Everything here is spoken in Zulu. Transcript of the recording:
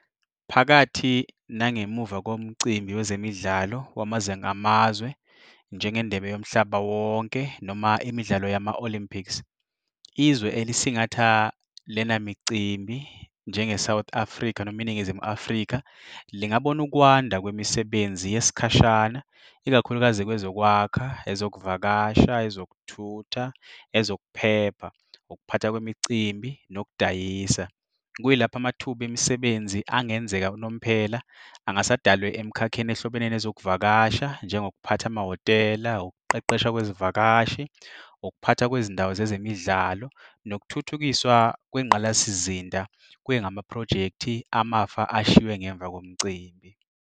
Phakathi nangemuva komcimbi wezemidlalo wamazwe amazwe njengeNdebe yoMhlaba wonke noma imidlalo yama-Olympics. Izwe elisingatha lena micimbi njengeSouth Africa noma iNingizimu Afrika lingabona ukwanda kwemisebenzi yesikhashana ikakhulukazi kwezokwakha, ezokuvakasha, ezokuthutha, ezokuphepha, ukuphatha kwemicimbi nokudayisa. Kuyilapho amathuba emisebenzi angenzeka unomphela angase adalwe emkhakheni ehlobene nezokuvakasha enjengokuphatha amahhotela, ukuqeqeshwa kwezivakashi, ukuphatha kwezindawo zezemidlalo nokuthuthukiswa kwengqalasizinda kwengamaphrojekhthi amafa ashiwe ngemva komcimbi.